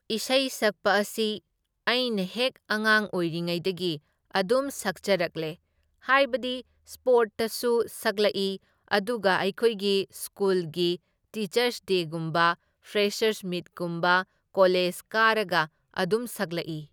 ꯏꯁꯩ ꯁꯛꯄ ꯑꯁꯤ ꯑꯩꯅ ꯍꯦꯛ ꯑꯉꯥꯡ ꯑꯣꯏꯔꯤꯉꯩꯗꯒꯤ ꯑꯗꯨꯝ ꯁꯛꯆꯔꯛꯂꯦ, ꯍꯥꯏꯕꯗꯤ ꯁ꯭ꯄꯣꯔꯠꯇꯁꯨ ꯁꯛꯂꯛꯢ ꯑꯗꯨꯒ ꯑꯩꯈꯣꯏꯒꯤ ꯁ꯭ꯀꯨꯜꯒꯤ ꯇꯤꯆꯔꯁ ꯗꯦꯒꯨꯝꯕ, ꯐ꯭ꯔꯦꯁꯔꯁ ꯃꯤꯠꯀꯨꯝꯕ ꯀꯣꯂꯦꯖ ꯀꯥꯔꯒ ꯑꯗꯨꯝ ꯁꯛꯂꯛꯢ꯫